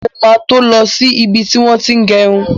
Mo ma to lọ sí ibi tí wọ́n ti ń gẹrun.